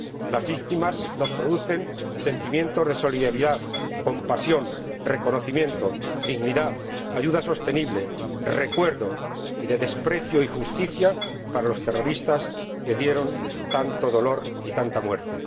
Las víctimas nos producen sentimientos de solidaridad, compasión, reconocimiento, dignidad, ayuda sostenible, recuerdo, y de desprecio y justicia para los terroristas que dieron tanto dolor y tanta muerte.